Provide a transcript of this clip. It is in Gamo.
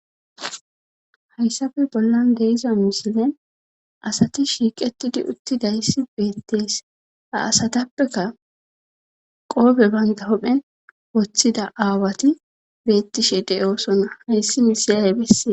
Hayssafe bollan deiza misilen asati shiiqetidi uttidayssi beettees ha asatappeka qoobe bangahophen woththida aawati beettishe de'oosona hayssi misiyay bessee